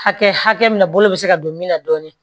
Hakɛ hakɛ min na bolo bɛ se ka don min na dɔɔnin